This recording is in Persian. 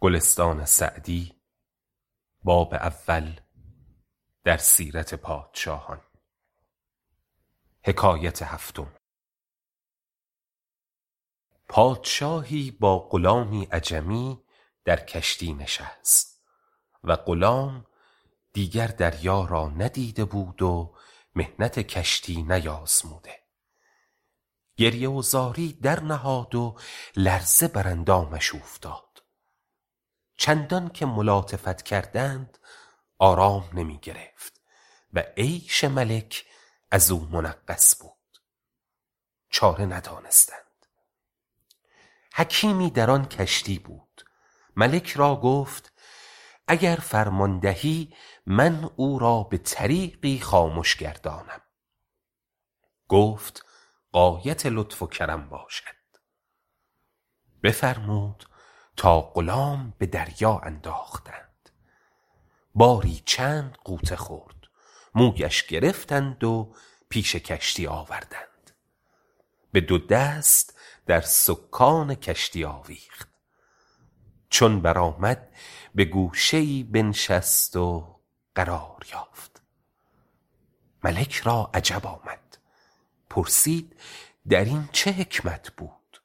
پادشاهی با غلامی عجمی در کشتی نشست و غلام دیگر دریا را ندیده بود و محنت کشتی نیازموده گریه و زاری درنهاد و لرزه بر اندامش اوفتاد چندان که ملاطفت کردند آرام نمی گرفت و عیش ملک از او منغص بود چاره ندانستند حکیمی در آن کشتی بود ملک را گفت اگر فرمان دهی من او را به طریقی خامش گردانم گفت غایت لطف و کرم باشد بفرمود تا غلام به دریا انداختند باری چند غوطه خورد مویش گرفتند و پیش کشتی آوردند به دو دست در سکان کشتی آویخت چون برآمد به گوشه ای بنشست و قرار یافت ملک را عجب آمد پرسید در این چه حکمت بود